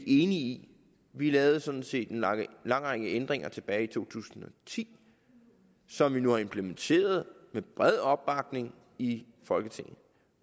i vi lavede sådan set en lang række ændringer tilbage i to tusind og ti som nu er implementeret med bred opbakning i folketinget